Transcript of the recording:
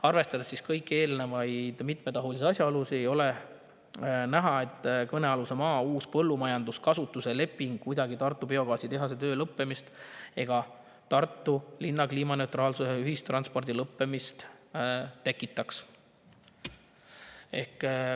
Arvestades kõiki neid mitmetahulisi asjaolusid, ei ole näha, et uus kõnealuse maa põllumajandusliku kasutuse leping kuidagi Tartu biogaasitehase töö või Tartu linna kliimaneutraalse ühistranspordi lõppemist.